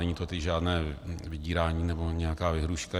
Není to tedy žádné vydírání nebo nějaká výhrůžka.